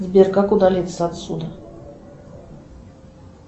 сбер как удалиться отсюда